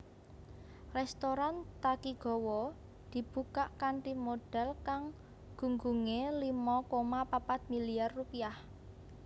Rèstoran Takigawa dibukak kanthi modhal kang gunggungé limo koma papat milyar rupiah